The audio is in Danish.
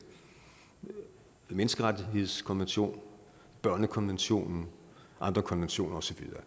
menneskerettighedskonvention børnekonventionen og andre konventioner